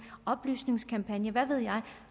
oplysningskampagner hvad ved jeg